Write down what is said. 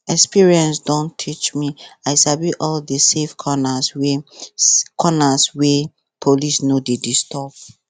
experience don teach me i sabi all the safe corners wey corners wey police no dey disturb